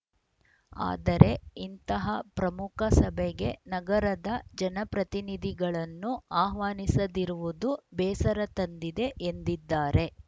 ಆದರೆ ಇಂತಹ ಪ್ರಮುಖ ಸಭೆಗೆ ನಗರದ ಜನಪ್ರತಿನಿಧಿಗಳನ್ನು ಆಹ್ವಾನಿಸದಿರುವುದು ಬೇಸರ ತಂದಿದೆ ಎಂದಿದ್ದಾರೆ